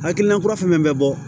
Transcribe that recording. Hakilina kura fɛn fɛn bɛ bɔ